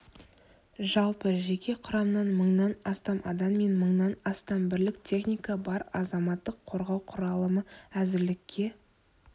жалпы жеке құрамнан мыңнан астам адам мен мыңнан астам бірлік техника бар азаматтық қорғау құралымы әзірлікке